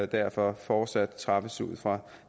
derfor fortsat træffes ud fra